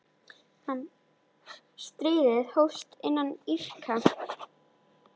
Stríðið hófst með innrás Íraka.